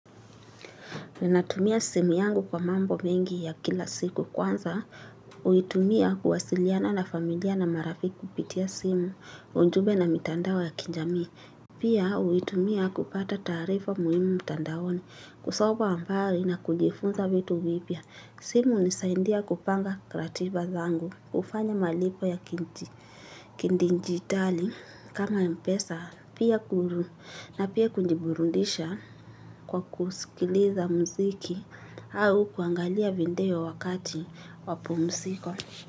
Ninatumia simu yangu kwa mambo mengi ya kila siku kwanza, uitumia kuwasiliana na familia na marafik kupitia simu, ujumbe na mitandao ya kinjami. Pia uitumia kupata taarifa muhimu mtandaoni, kusomwa ambari na kujifunza vitu vipya. Simu hunisaindia kupanga ratiba zangu, kufanya malipo ya kindi njitali, kama mpesa, pia kuru na pia kunjiburundisha kwa kusikiliza mziki au kuangalia vindeo wakati wapumsiko.